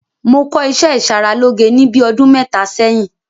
Mo kọ́ ìṣẹ́ ìṣaralóge ní bíi ọdún mẹ́ta sẹ́yìn.